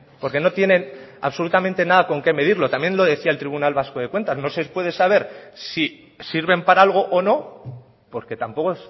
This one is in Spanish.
porque no tienen absolutamente nada con qué medirlo también lo decía el tribunal vasco de cuentas no se puede saber si sirven para algo o no porque tampoco